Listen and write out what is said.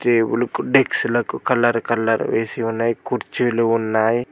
డెక్సులకు colour colour వేసి ఉన్నాయి కుర్చీలు ఉన్నాయి.